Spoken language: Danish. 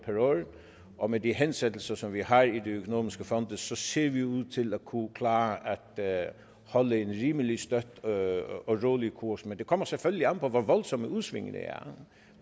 og med de hensættelser som vi har i de økonomiske fonde så ser vi ud til at kunne klare at holde en rimelig støt og rolig kurs men det kommer selvfølgelig an på hvor voldsomme udsvingene er